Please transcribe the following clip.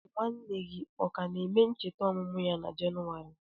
Nwanne gị ọ ka na-eme ncheta ọmụmụ ya na Jenụwarị?